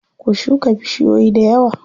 Ku shuka bushiyoyi dayawa.